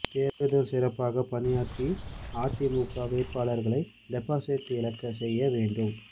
தேர்தல் சிறப்பாக பணியாற்றி அதிமுக வேட்பாளர்களை டெபாசிட் இழக்கச் செய்ய வேண்டும்